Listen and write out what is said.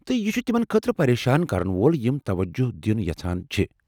تہٕ یہِ چُھ تمن خٲطرٕ پریشان کرن وول یم توجہ دِیٚن یژھان چھِ ۔